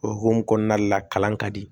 O hukumu kɔnɔna la kalan ka di